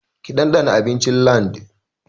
Ki ɗanɗana abincin LandN!